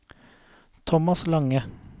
Tomas Lange